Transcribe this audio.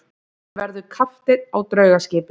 Hann verður kapteinn á draugaskipi.